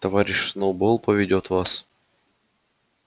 товарищ сноуболл поведёт вас